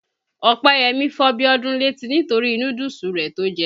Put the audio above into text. Ọpẹ́yẹmí fọ́ Bíọ́dún létí nitori núdúùsù rẹ̀ tó jẹ.